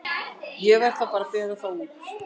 Ég verð þá að bera þá út.